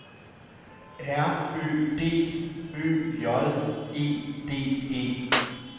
R Ø D Ø J E D E